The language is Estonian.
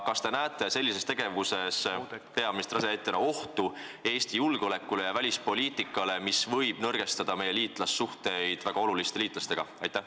Kas te peaministri asetäitjana näete sellises tegevuses ohtu Eesti julgeolekule ja välispoliitikale, mis võib nõrgestada meie suhteid väga oluliste liitlastega?